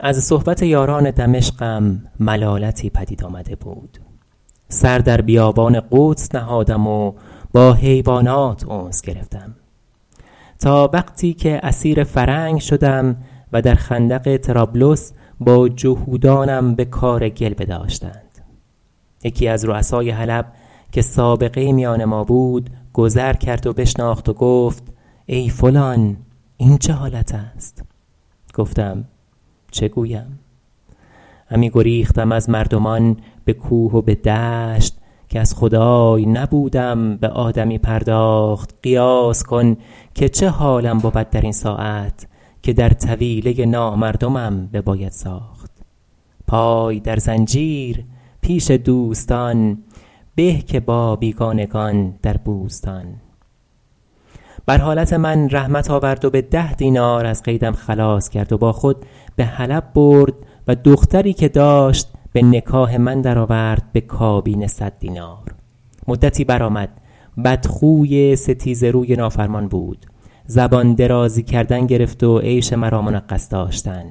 از صحبت یاران دمشقم ملالتی پدید آمده بود سر در بیابان قدس نهادم و با حیوانات انس گرفتم تا وقتی که اسیر فرنگ شدم در خندق طرابلس با جهودانم به کار گل بداشتند یکی از رؤسای حلب که سابقه ای میان ما بود گذر کرد و بشناخت و گفت ای فلان این چه حالت است گفتم چه گویم همی گریختم از مردمان به کوه و به دشت که از خدای نبودم به آدمی پرداخت قیاس کن که چه حالم بود در این ساعت که در طویله نامردمم بباید ساخت پای در زنجیر پیش دوستان به که با بیگانگان در بوستان بر حالت من رحمت آورد و به ده دینار از قیدم خلاص کرد و با خود به حلب برد و دختری که داشت به نکاح من در آورد به کابین صد دینار مدتی برآمد بدخوی ستیزه روی نافرمان بود زبان درازی کردن گرفت و عیش مرا منغص داشتن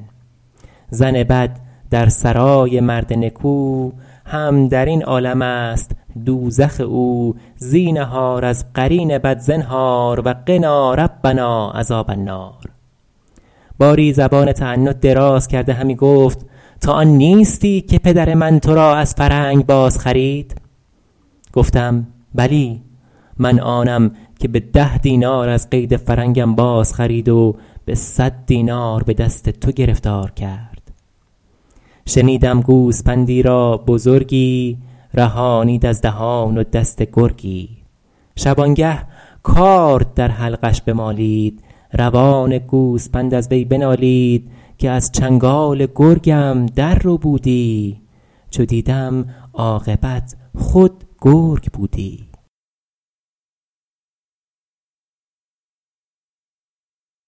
زن بد در سرای مرد نکو هم در این عالم است دوزخ او زینهار از قرین بد زنهار و قنا ربنا عذاب النار باری زبان تعنت دراز کرده همی گفت تو آن نیستی که پدر من تو را از فرنگ باز خرید گفتم بلی من آنم که به ده دینار از قید فرنگم بازخرید و به صد دینار به دست تو گرفتار کرد شنیدم گوسپندی را بزرگی رهانید از دهان و دست گرگی شبانگه کارد در حلقش بمالید روان گوسپند از وی بنالید که از چنگال گرگم در ربودی چو دیدم عاقبت خود گرگ بودی